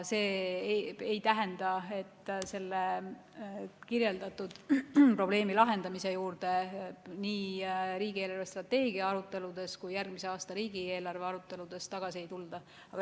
See ei tähenda, et selle kirjeldatud probleemi lahendamise juurde nii riigi eelarvestrateegia aruteludes kui ka järgmise aasta riigieelarve aruteludes tagasi ei tulda.